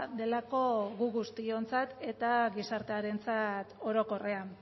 delako gu guztiontzat eta gizartearentzat orokorrean